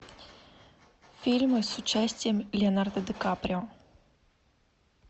фильмы с участием леонардо ди каприо